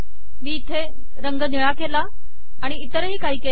मी इथे रंग निळा केला आमि इतरही काही केले